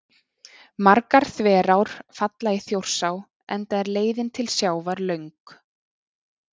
Margar þverár falla í Þjórsá enda er leiðin til sjávar löng.